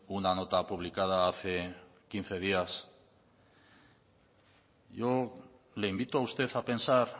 una nota publicada hace quince días yo le invito a usted a pensar